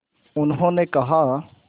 उन्होंने कहा